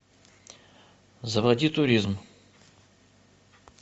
заводи туризм